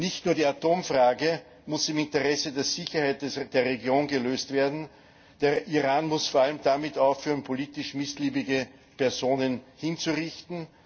Nicht nur die Atomfrage muss im Interesse der Sicherheit der Region gelöst werden, der Iran muss vor allem damit aufhören, politisch missliebige Personen hinzurichten.